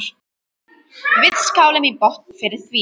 Við skálum í botn fyrir því.